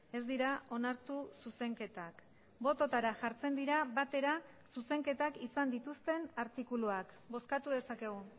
ez dira onartu zuzenketak bototara jartzen dira batera zuzenketak izan dituzten artikuluak bozkatu dezakegu